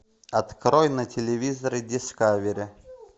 открой на телевизоре дискавери